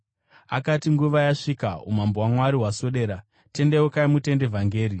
Akati, “Nguva yasvika. Umambo hwaMwari hwaswedera. Tendeukai mutende vhangeri!”